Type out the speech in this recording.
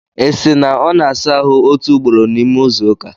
Isi! na ọ na-asa ahụ otu ugboro n'ime izu ụka?